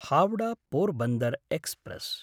Howrah Porbandar express